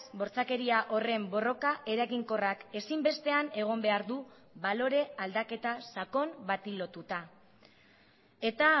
bortxakeria horren borroka eraginkorrak ezinbestean egon behar du balore aldaketa sakon bati lotuta eta